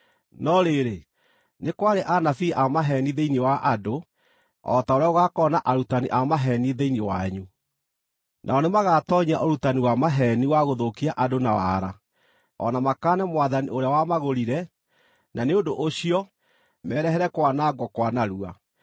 No rĩrĩ, nĩ kwarĩ anabii a maheeni thĩinĩ wa andũ, o ta ũrĩa gũgaakorwo na arutani a maheeni thĩinĩ wanyu. Nao nĩmagatoonyia ũrutani wa maheeni wa gũthũkia andũ na waara, o na makaane Mwathani ũrĩa wamagũrire, na nĩ ũndũ ũcio, merehere kwanangwo kwa narua.